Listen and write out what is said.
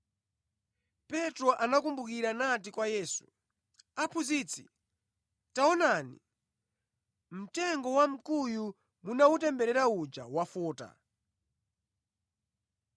Petro anakumbukira nati kwa Yesu, “Aphunzitsi, taonani! Mtengo wamkuyu munawutemberera uja wafota!”